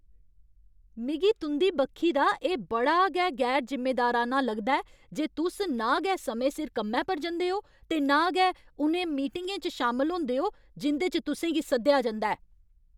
मिगी तुं'दी बक्खी दा एह् बड़ा गै गैर जिम्मेदाराना लगदा ऐ जे तुस ना गै समें सिर कम्मै पर जंदे ओ ते ना गै उ'नें मीटिङें च शामल होंदे ओ जिं'दे च तुसें गी सद्देआ जंदा ऐ।